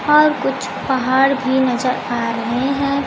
और कुछ पहाड़ भी नजर आ रहे हैं।